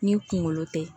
Ni kunkolo tɛ